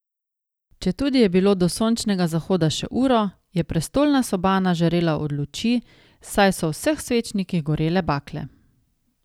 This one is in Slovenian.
Četudi je bilo do sončnega zahoda še uro, je prestolna sobana žarela od luči, saj so v vseh svečnikih gorele bakle.